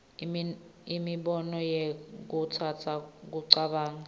nemibono ikhutsata kucabanga